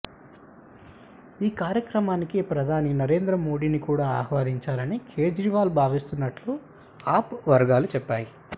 ఈ కార్యక్రమానికి ప్రధాని నరేంద్ర మోదీని కూడా ఆహ్వానించాలని కేజ్రీవాల్ భావిస్తున్నట్లు ఆప్ వర్గాలు చెప్పాయి